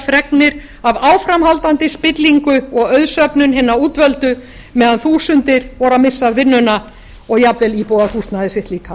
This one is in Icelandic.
fregnir af áframhaldandi spillingu og auðsöfnun hinna útvöldu meðan þúsundir voru að missa vinnuna og jafnvel íbúðarhúsnæði sitt líka